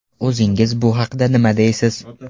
O‘zingiz bu haqda nima deysiz?